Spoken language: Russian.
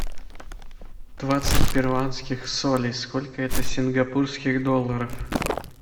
двадцать перуанских солей сколько это сингапурских долларов